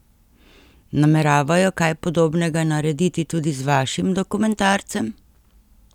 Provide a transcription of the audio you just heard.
Nameravajo kaj podobnega narediti tudi z vašim dokumentarcem?